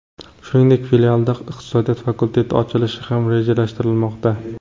Shuningdek, filialda iqtisodiyot fakulteti ochilishi ham rejalashtirilmoqda.